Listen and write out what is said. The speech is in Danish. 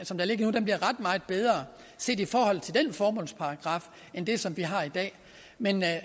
som der ligger nu bliver ret meget bedre set i forhold til den formålsparagraf end det som vi har i dag men